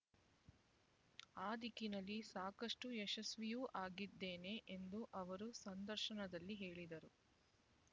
ಅ ದಿಕ್ಕಿನಲ್ಲಿ ಸಾಕಷ್ಟು ಯಶಸ್ವಿಯೂ ಆಗಿದ್ದೇನೆ ಎಂದು ಅವರು ಸಂದರ್ಶನದಲ್ಲಿ ಹೇಳಿದರು